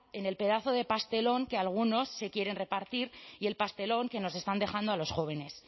en el pedazo de pastelón que algunos se quieren repartir y el pastelón que nos están dejando a los jóvenes